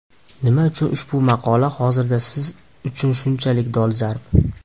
Nima uchun ushbu maqola hozirda siz uchun shunchalik dolzarb?